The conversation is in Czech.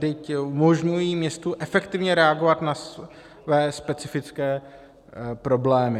Vždyť umožňují městu efektivně reagovat na své specifické problémy.